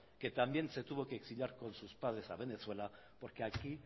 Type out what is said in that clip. que también se tuvo que exiliar con sus padres a venezuela porque aquí